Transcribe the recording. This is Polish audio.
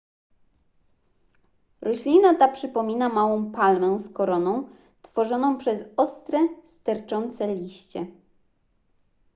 roślina ta przypomina małą palmę z koroną tworzoną przez ostre sterczące liście